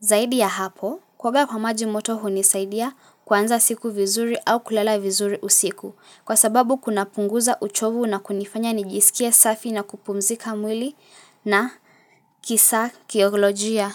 Zaidi ya hapo, kuoga kwa maji moto hunisaidia kuanza siku vizuri au kulala vizuri usiku, kwa sababu kuna punguza uchovu na kunifanya nijisikie safi na kupumzika mwili na kisa kiyoglojia.